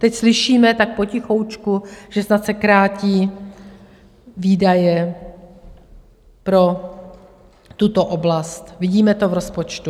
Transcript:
Teď slyšíme tak potichoučku, že snad se krátí výdaje pro tuto oblast, vidíme to v rozpočtu.